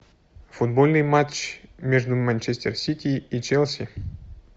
футбольный матч между манчестер сити и челси